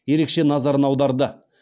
ерекше назарын аударды